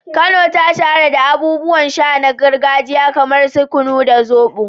Kano ta shahara da abubuwan sha na gargajiya kamar su kunu da zobo.